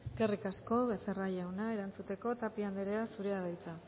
consejera eskerrik asko becerra jauna erantzuteko tapia anderea zurea da hitza